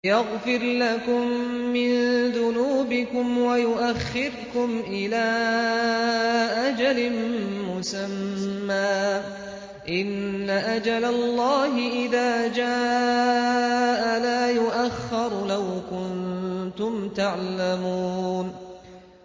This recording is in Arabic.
يَغْفِرْ لَكُم مِّن ذُنُوبِكُمْ وَيُؤَخِّرْكُمْ إِلَىٰ أَجَلٍ مُّسَمًّى ۚ إِنَّ أَجَلَ اللَّهِ إِذَا جَاءَ لَا يُؤَخَّرُ ۖ لَوْ كُنتُمْ تَعْلَمُونَ